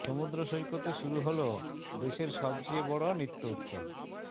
সমুদ্র সৈকতে শুরু হলো দেশের সবচেয়ে বড় নৃত্য উৎসব